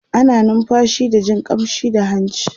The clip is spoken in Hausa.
ana numfashi da Jin ƙamshi da hanci